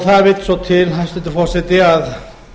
það vill svo til hæstvirtur forseti að